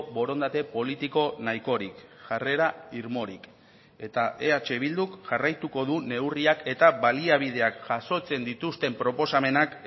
borondate politiko nahikorik jarrera irmorik eta eh bilduk jarraituko du neurriak eta baliabideak jasotzen dituzten proposamenak